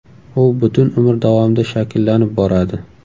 U butun umr davomida shakllanib boradi.